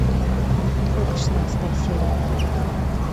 двойка шестнадцатая серия